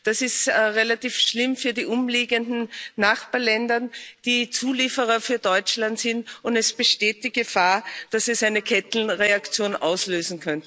Das ist relativ schlimm für die umliegenden Nachbarländer, die Zulieferer für Deutschland sind, und es besteht die Gefahr, dass es eine Kettenreaktion auslöst.